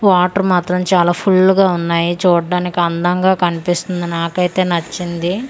Water మాత్రం చాలా full గా ఉన్నాయి చూడ్డానికి అందంగా కన్పిస్తుంది నాకైతే నచ్చింది.